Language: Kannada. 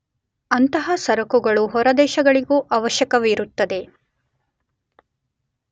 ಅಂತಹ ಸರಕುಗಳು ಹೊರದೇಶಗಳಿಗೂ ಅವಶ್ಯಕವಿರುತ್ತವೆ.